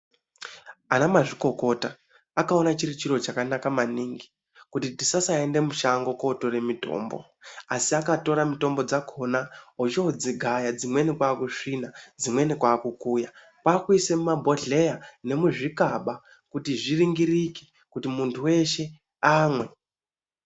Ana mazvinokota akaona chiri chiro chakanaka maningi kuti tisasaende mushango kotore mitombo asi akatora mitombo dzakhona ochodzigaya dzimweni kwakusvina dzimweni kwakukuya kwakuise mumabhodhleya nemuzvikaba kuti zviringirike kuti muntu weshe amwe.